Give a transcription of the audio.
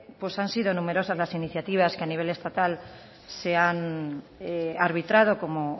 han sido numerosas las iniciativas que a nivel estatal se han arbitrado como